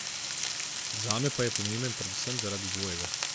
Zame pa je pomemben predvsem zaradi dvojega.